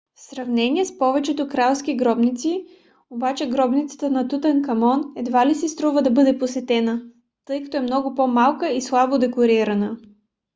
в сравнение с повечето кралски гробници обаче гробницата на тутанкамон едва ли си струва да бъде посетена тъй като е много по-малка и слабо декорирана